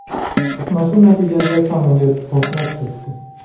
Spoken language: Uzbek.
To‘qnashuv natijasida samolyot portlab ketdi.